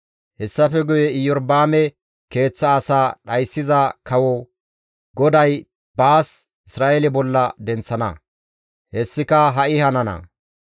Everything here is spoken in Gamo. «Hessafe guye Iyorba7aame keeththa asaa dhayssiza kawo, GODAY baas Isra7eele bolla denththana; hessika ha7i hanana.